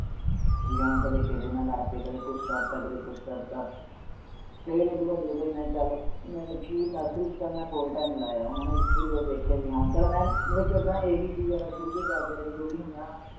ਜਿਵੇਂ ਕਦੇ ਕਿਸੇ ਨਾਲ ਲੜ ਪਏ, ਕਦੇ ਕੁਛ ਕਰ ਦਿੱਤਾ, ਕਦੇ ਕੁਛ ਕਰ ਦਿੱਤਾ ਫਿਰ ਉਹ ਤੋਂ ਬਾਅਦ ਜਦੋਂ ਬਈ ਮੈਂ ਚੱਲ ਜਾਣੀ ਕਿ nursery ਚ ਤਾਂ ਮੈਂ ਥੋੜ੍ਹੇ time ਹੀ ਲਾਇਆ ਹੋਣਾ, ਵੀ ਜਦੋਂ ਦੇਖਿਆ ਵੀ ਹਾਂ ਚੱਲ ਮੈਂ ਮਤਲਬ ਕਿ ਓਦਾਂ a b c ਤਾਂ ਸ਼ੁਰੂ ਤੋਂ ਹੀ ਕਰਦੇ ਰਹੇ ਜੋ ਵੀ ਹੁੰਦਾ ਹੈ ਨਾ